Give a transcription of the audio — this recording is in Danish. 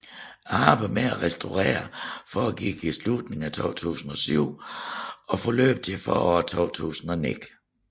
Arbejdet med at restaureringen foregik i slutning af 2007 og forløb frem til foråret 2009